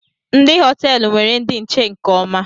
Ndị họteelu nwere ndi nche nke ọma